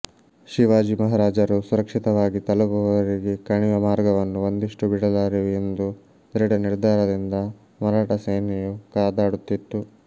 ಶಿವಾಜಿ ಮಹಾರಾಜರು ಸುರಕ್ಷಿತವಾಗಿ ತಲುಪುವವರೆಗೆ ಕಣಿವೆ ಮಾರ್ಗವನ್ನು ಒಂದಿಷ್ಟೂ ಬಿಡಲಾರೆವು ಎಂದು ದೃಢನಿರ್ಧಾರದಿಂದ ಮರಾಠಸೇನೆಯು ಕಾದಾಡುತ್ತಿತ್ತು